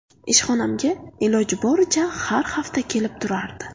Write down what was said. Ishxonamga iloji boricha har hafta kelib turardi.